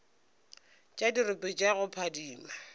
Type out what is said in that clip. tša dirope tša go phadima